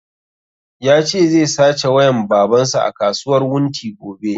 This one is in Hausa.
Ya ce zai sace wayan baban sa a kasuwar wunti gobe